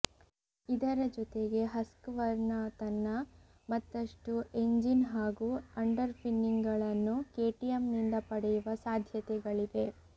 ಇದರ ಜೊತೆಗೆ Husqvarna ತನ್ನ ಮತ್ತಷ್ಟು ಎಂಜಿನ್ ಹಾಗೂ ಅಂಡರ್ ಪಿನ್ನಿಂಗ್ಗಳನ್ನು ಕೆಟಿಎಂನಿಂದ ಪಡೆಯುವ ಸಾಧ್ಯತೆಗಳಿವೆ